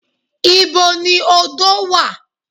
Ìbo ni odo wà?